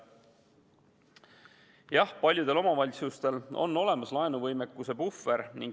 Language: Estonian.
Jah, paljudel omavalitsustel on olemas laenuvõimekuse puhver.